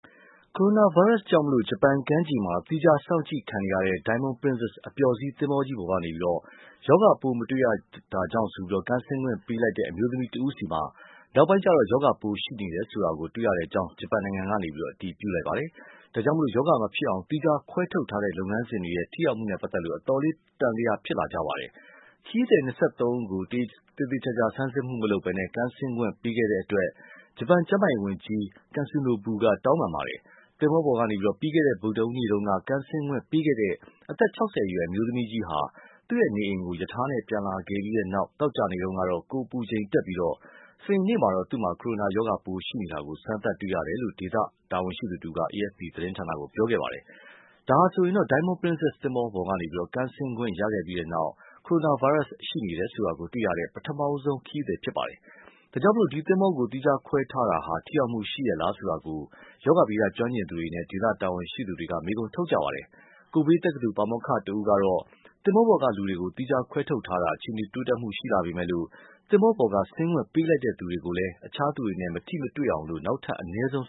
ကိုရိုနာဗိုင်းရပ်စ်ကြောင့် ဂျပန်ကမ်းခြေမှာ သီးခြား စောင့်ကြည့်ခံနေရတဲ့ Diamond Princess အပျော်စီးသင်္ဘောကြီးပေါ်ကနေ ရောဂါပိုး မတွေ့ရတာကြောင့် ကမ်းဆင်းခွင့်ပေးလိုက်တဲ့ အမျိုးသမီးဆီမှာ နောက်ပိုင်းကျတော့ ရောဂါပိုးရှိနေတယ်ဆိုတာ တွေ့ရတဲ့အကြောင်း ဂျပန်နိုင်ငံက အတည်ပြုပါတယ်။ ဒါကြောင့် ရောဂါမဖြစ်အောင် သီးခြားခွဲထုတ်ထားတဲ့ လုပ်ငန်းစဉ်တွေရဲ့ ထိရောက်မှုနဲ့ ပတ်သက်လို့ အတော်လေး သံသယဖြစ်လာကြပါတယ်။ ခရီးသည် ၂၃ ဦးကို သေသေချာချာ စစ်ဆေးမှုမလုပ်ဘဲ ကမ်းဆင်းခွင့်ပေးခဲ့တဲ့အတွက် ဂျပန်ကျန်းမာရေးဝန်ကြီး Katsunobu က တောင်းပန်ပါတယ်။ သင်္ဘောပေါ်ကနေ ပြီးခဲ့တဲ့ ဗုဒ္ဓဟူးနေ့တုန်းက ကမ်းဆင်းခွင့်ပေးခဲ့တဲ့ အသက် ၆၀ အရွယ် အမျိုးသမီးကြီးဟာ သူ့နေအိမ်ကို ရထားနဲ့ ပြန်လာခဲ့ပြီးတဲ့နောက် သောကြာနေ့တုန်းက ကိုယ်အပူချိန်တက်ပြီး စနေနေ့ကျတော့ သူ့မှာ ကိုရိုနာရောဂါပိုး ရှိနေတာကို စမ်းသပ်တွေ့ရတယ်လို့ ဒေသတာဝန်ရှိသူတဦးက AFP သတင်းဌာနကို ပြောပါတယ်။ ဒါဟာဆိုရင် Diamond Princess သင်္ဘောပေါ်ကနေ ကမ်းဆင်းခွင့် ရခဲ့ပြီးနောက် ကိုရိုနာဗိုင်းရပ်စ် ရှိနေတယ်ဆိုတာ တွေ့ရတဲ့ ပထမဆုံးခရီးသည် ဖြစ်ပါတယ်။ ဒါကြောင့် ဒီသင်္ဘောကို သီးခြားခွဲထားတာ ထိရောက်မှုရှိရဲ့လား ဆိုတာကို ရောဂါဗေဒ ကျွမ်းကျင်သူတွေနဲ့ ဒေသတာဝန်ရှိသူတွေ မေးခွန်းထုတ်နေကြပါတယ်။ Kobe တက္ကသိုလ် ပါမောက္ခတဦးကတော့ သင်္ဘောပေါ်ကလူတွေကို သီးခြားခွဲထုတ်ထားတာ အခြေအနေ တိုးတက်မှု ရှိလာပေမယ့်လို့ သင်္ဘောပေါ်က ဆင်းခွင့်ပေးလိုက်တဲ့ သူတွေကိုလည်း အခြားသူတွေနဲ့ မထိမတွေ့အောင် နောက်ထပ် အနည်းဆုံး